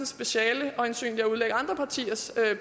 speciale øjensynligt er at udlægge andre partiers